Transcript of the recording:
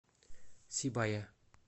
сибая